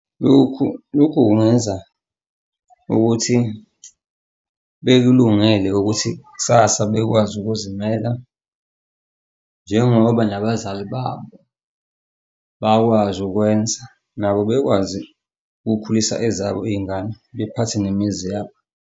Lokhu, lokhu kungenza ukuthi bekulungele ukuthi kusasa bekwazi ukuzimela njengoba nabazali babo bakwazi ukwenza nabo bekwazi ukukhulisa ezabo iy'ngane bephathe nemizi yabo.